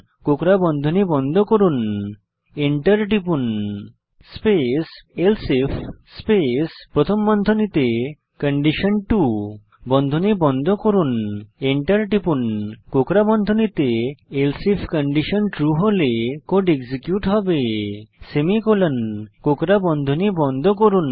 কোকড়া বন্ধনী বন্ধ করুন স্পেস এলসিফ স্পেস প্রথম বন্ধনীতে কন্ডিশন বন্ধনী বন্ধ করুন এন্টার টিপুন কোকড়া বন্ধনীতে এলসিফ কন্ডিশন ট্রু হলে কোড এক্সিকিউট হবে সেমিকোলন কোকড়া বন্ধনী বন্ধ করুন